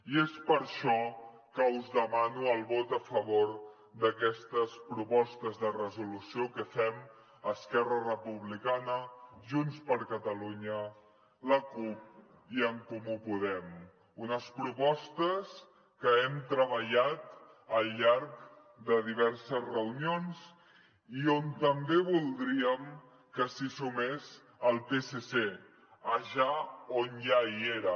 i és per això que us demano el vot a favor d’aquestes propostes de resolució que fem esquerra republicana junts per catalunya la cup i en comú podem unes propostes que hem treballat al llarg de diverses reunions i on també voldríem que s’hi sumés el psc allà on ja hi era